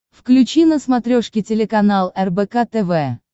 включи на смотрешке телеканал рбк тв